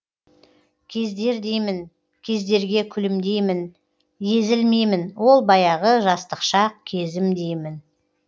кездер деймін кездерге күлімдеймін езілмеймін ол баяғы жастық шақ кезім деймін